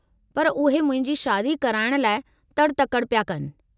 पर उहे मुंहिंजी शादी कराइणु लाइ तड़ि-तकड़ि पिया कनि।